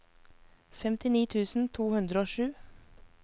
femtini tusen to hundre og sju